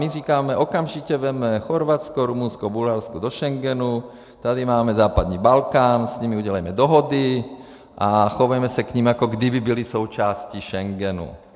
My říkáme, okamžitě vezmeme Chorvatsko, Rumunsko, Bulharsko do Schengenu, tady máme západní Balkán, s nimi udělejme dohody a chovejme se k nim, jako kdyby byli součástí Schengenu.